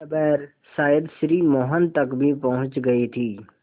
खबर शायद श्री मोहन तक भी पहुँच गई थी